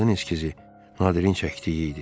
Bu qadın eskizi Nadirin çəkdiyi idi.